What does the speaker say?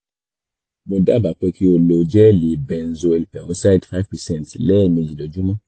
mo dábàá pé kí o lo gẹẹli benzoyl peroxide five percent lẹ́ẹ̀mejì lójúmọ́